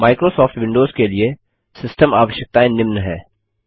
Microsoft Windows के लिए system आवश्यकताएँ निम्न हैं